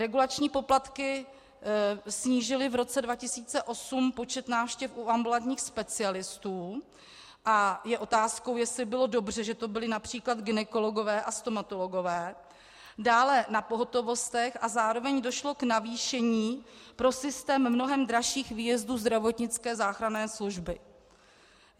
Regulační poplatky snížily v roce 2008 počet návštěv u ambulantních specialistů - a je otázkou, jestli bylo dobře, že to byli například gynekologové a stomatologové, dále na pohotovostech - a zároveň došlo k navýšení pro systém mnohem dražších výjezdů zdravotnické záchranné služby.